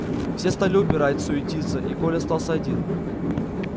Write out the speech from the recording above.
все стали убирать суетиться и коля остался один